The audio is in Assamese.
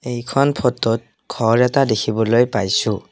এইখন ফটোত ঘৰ এটা দেখিবলৈ পাইছোঁ।